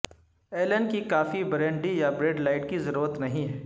Alan کی coffee brandy یا Bud Light کی ضرورت نہیں ہے